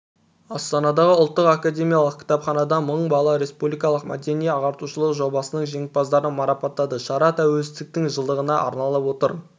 астанадағы ұлттық академиялық кітапханада мың бала республикалық мәдени-ағартушылық жобасының жеңімпаздарын марапаттады шара тәуелсіздіктің жылдығына арналып отыр